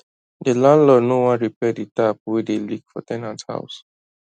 the landlord no wan repair the tap wey dey leak for ten ant house